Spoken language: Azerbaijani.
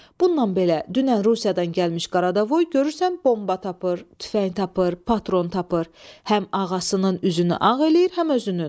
Bununla belə, dünən Rusiyadan gəlmiş Qaradavoy görürsən bomba tapır, tüfəng tapır, patron tapır, həm ağasının üzünü ağ eləyir, həm özünün.